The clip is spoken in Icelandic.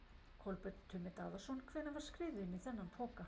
Kolbeinn Tumi Daðason: Hvenær var skriðið inn í þennan poka?